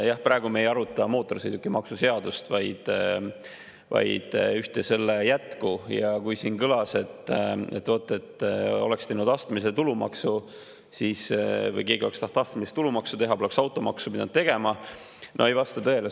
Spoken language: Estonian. Jah, praegu me ei aruta mootorsõidukimaksu seadust, vaid ühte selle jätku, ja kui siin kõlas, et vot kui oleks teinud astmelise tulumaksu või keegi oleks tahtnud astmelist tulumaksu teha, siis poleks automaksu pidanud tegema, see ei vasta tõele.